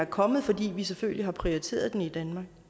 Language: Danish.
kommet fordi vi selvfølgelig har prioriteret den i danmark